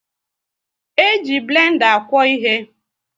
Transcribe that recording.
E ji blenda akwo ịhe